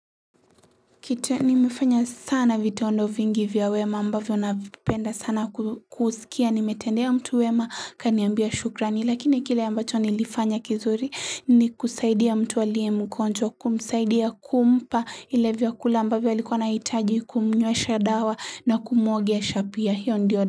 Kita nimefanya sana vitondo vingi vya wema ambavyo navipenda sana kusikia nimetendea mtu wema akaniambia shukrani lakini kile ambacho nilifanya kizuri ni kusaidia mtu alie mgonjwa kumsaidia kumpa ile vyakula ambavyo alikuwa anaitaji kumnywesha dawa na kumuogesha pia hiyo ndiyo.